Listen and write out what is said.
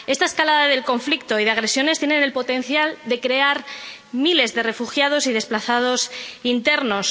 Esta escalada del conflicto y las agresiones tiene el potencial de crear miles de refugiados y desplazados internos.